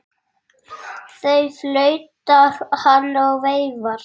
Þá flautar hann og veifar.